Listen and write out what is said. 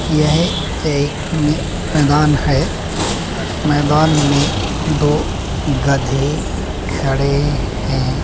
यह एक मे मैदान है। मैदान में दो गधे खड़े है।